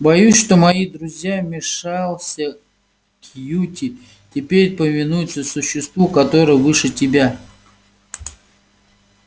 боюсь что мои друзья вмешался кьюти теперь повинуются существу которое выше тебя